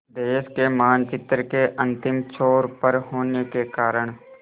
देश के मानचित्र के अंतिम छोर पर होने के कारण